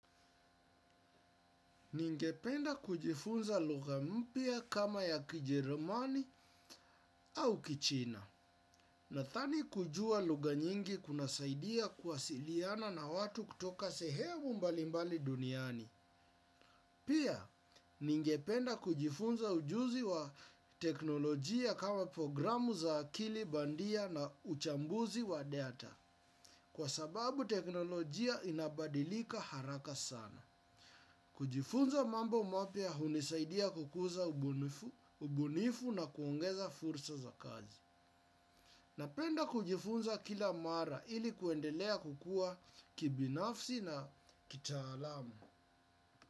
Ningependa kujifunza lugha mpya kama ya kijerumani au kichina. Nathani kujua lugha nyingi kunasaidia kuwasiliana na watu kutoka sehemu mbalimbali duniani. Pia, ningependa kujifunza ujuzi wa teknolojia kama programu za akili bandia na uchambuzi wa data. Kwa sababu teknolojia inabadilika haraka sana. Kujifunza mambo mapya hunisaidia kukuza ubunifu na kuongeza fursa za kazi. Napenda kujifunza kila mara ili kuendelea kukua kibinafsi na kitaalamu.